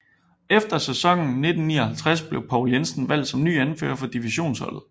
Efter sæsonen 1959 blev Poul Jensen valgt som ny anfører for divisionsholdet